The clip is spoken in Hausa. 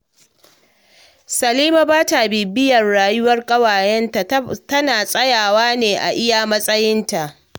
Salima ba ta bibiyar rayuwar ƙawayenta, tana tsayawa ne a iya matsayinta